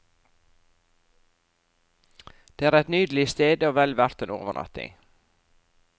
Det er et nydelig sted, og vel verdt en overnatting.